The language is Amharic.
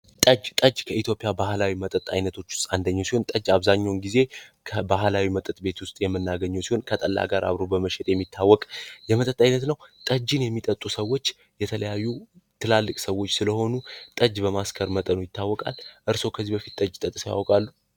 ጠጅ፡ ጠጅ ከኢትዮጵያዊ ባህላዊ መጠጦች ውስጥ አንደኛው ሲሆን በአብዛኛው ጊዜ ከባህላዊ መጠጥ ቤቶች ውስጥ የሚገኙ ሲሆን ከጠላ ጋር አብሮ በመሸጥ የሚታወቅ የመጠጥ አይነት ነው። ጠጂን የሚጠጡ ሰዎች የተለያዩ ትላልቅ ሰወች ስለሆኑ ጠጅ በማስከር ይታወቃል። እርስዎ ከዚህ በፊት ጠጅ ጠጥተው ያውቃሉ?